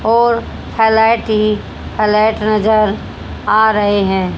और हाईलाइट हि हाईलाइट नजर आ रहे हैं।